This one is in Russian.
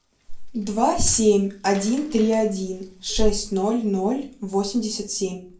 два семь один три один шесть ноль ноль восемьдесят семь